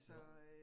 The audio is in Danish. Jo